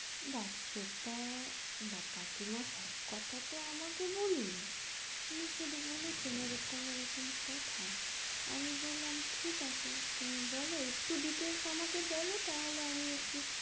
দেখ সেটা, দেখ কাকিমা সব কথা তো আমাকে বলেনি, উনি শুধু বলেছেন এরকম এরকম কথা আমি বললাম ঠিক আছে তুমি বলো একটু details আমাকে বলো তাহলে আমি একটু,